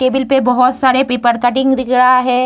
Table पे बहुत सारे पेपर कटिंग दिख रहा है।